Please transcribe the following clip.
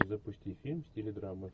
запусти фильм в стиле драма